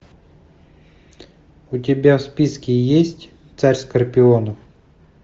у тебя в списке есть царь скорпионов